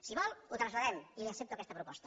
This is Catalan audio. si vol ho traslladem i li accepto aquesta proposta